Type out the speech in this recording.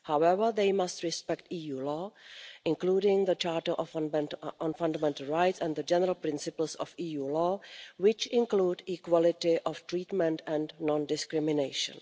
However, they must respect EU law, including the Charter on Fundamental Rights and the general principles of EU law, which include equality of treatment and non discrimination.